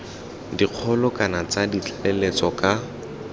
dikgolo kana tsa tlaleletso ka